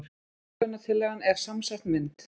Verðlaunatillagan er samsett mynd